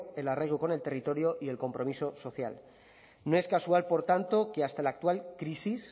el arraigo con el territorio y el compromiso social no es casual por tanto que hasta la actual crisis